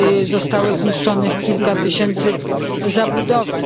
zostało zniszczonych kilka tysięcy zabudowań.